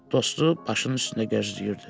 Dostu başının üstündə gözləyirdi.